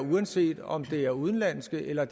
uanset om det er udenlandske eller